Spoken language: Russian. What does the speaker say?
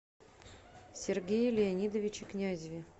сергее леонидовиче князеве